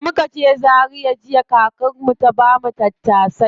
Da muka je zaria jiya, kakar mu ta bamu tattasai.